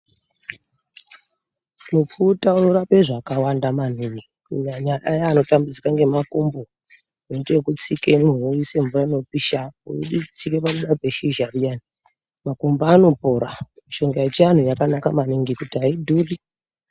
Mupfuta unorape zvakawanda maningi kunyanya aya anotambudzika nemakumbo. Unoita kutsikemwo woise mvura inopisha woita kutsika padera peshizha riyani makumbo anopona. Mishonga yechiantu yakanaka maningi ngekuti ayidhuri.